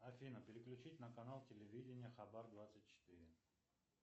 афина переключить на канал телевидения хабар двадцать четыре